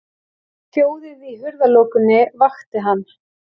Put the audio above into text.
Hljóðið í hurðarlokunni vakti hann.